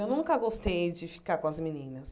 Eu nunca gostei de ficar com as meninas.